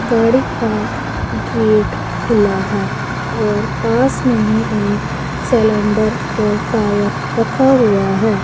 गाड़ी का गेट खुला है और पास में ही एक सिलेंडर और टायर रखा हुआ है।